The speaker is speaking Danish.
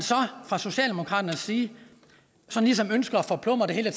fra socialdemokratiets side ligesom ønsker at forplumre det hele